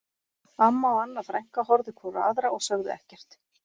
Amma og Anna frænka horfðu hvor á aðra og sögðu ekkert